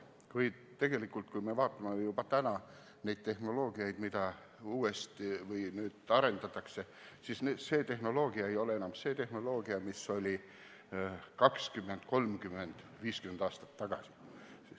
Või tegelikult, kui me vaatame tehnoloogiaid, mida nüüd arendatakse, siis need ei ole juba praegu enam tehnoloogiad, mis olid 20, 30 või 50 aastat tagasi.